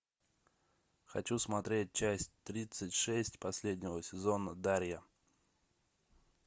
хочу смотреть часть тридцать шесть последнего сезона дарья